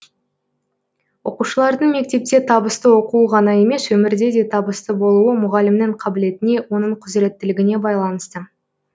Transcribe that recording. оқушылардың мектепте табысты оқуы ғана емес өмірде де табысты болуы мұғалімнің қабілетіне оның құзыреттілігіне байланысты